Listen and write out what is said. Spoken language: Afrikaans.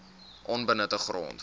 onbenutte grond